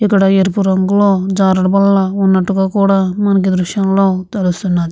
ఇక్కడ ఎరుపు రంగులో జారుడు బల్ల ఉన్నట్టుగా కూడా మనకి దృశ్యంగా తెలుస్తుంది.